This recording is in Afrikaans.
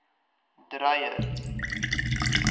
dreyer